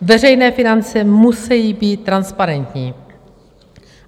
Veřejné finance musejí být transparentní.